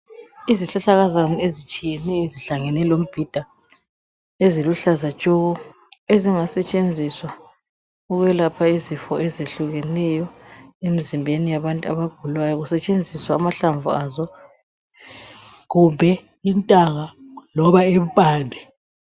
Izihlahlakazana ezitshiyeneyo ezihlangane lemibhida eziluhlaza tshoko ezingasetshenziswa ukwelapha izifo ezihlukeneyo emizimbeni yabantu abagulayo. Kusetshenziswa amahlamvu loba impande.